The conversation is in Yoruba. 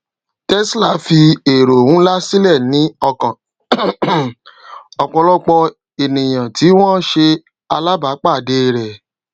tesla fi ero nlá silẹ ní ọkàn um ọpọlọpọ ènìyàn tí wọn ṣe alábá pàdé rẹ